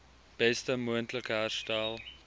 beste moontlike herstel